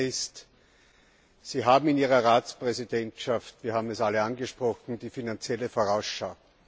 Das Eine ist Sie haben in Ihrer Ratspräsidentschaft wir haben das alle angesprochen die finanzielle Vorausschau.